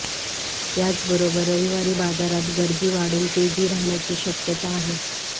याचबरोबर रविवारी बाजारत गर्दी वाढून तेजी राहण्याची शक्यता आहे